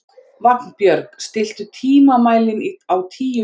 Vagnbjörg, stilltu tímamælinn á tíu mínútur.